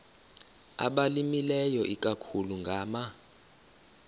abalimileyo ikakhulu ngama